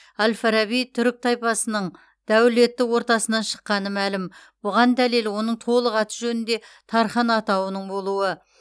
әл фараби түрік тайпасының дәулетті ортасынан шыққаны мәлім бұған дәлел оның толық аты жөнінде тархан атауының болуы